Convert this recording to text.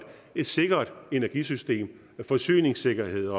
et sikkert energisystem forsyningssikkerhed